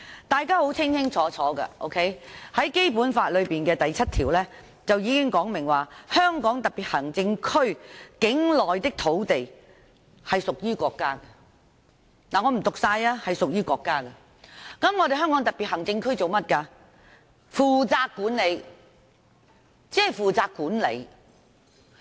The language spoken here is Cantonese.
大家都清楚，《基本法》第七條訂明，香港特別行政區境內的土地屬於國家所有，由香港特別行政區政府負責管理。